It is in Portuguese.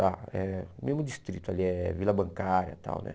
Lá, é, mesmo distrito ali, é Vila Bancária e tal, né?